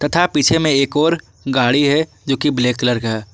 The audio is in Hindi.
तथा पीछे में एक और गाड़ी है जो कि ब्लैक कलर का है।